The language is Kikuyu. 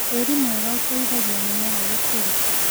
Tĩri mwega ũteithagia mĩmera gũkũra.